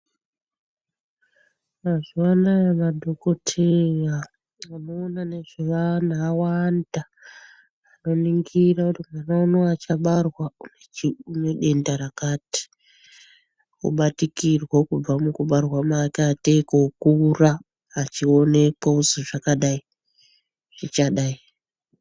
Mazuva anaya madhokodheya vanoona nezvevana awanda. Anoningira kuti mwana uno achabarwa une denda rakati. Obatikirwa kubva mukubarwa ateyi kokura achioneka kuti zvakadai zvichadai.